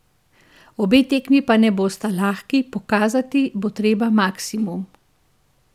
Obe tekmi pa ne bosta lahki, pokazati bo treba maksimum.